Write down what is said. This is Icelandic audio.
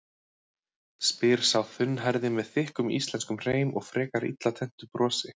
spyr sá þunnhærði með þykkum íslenskum hreim og frekar illa tenntu brosi.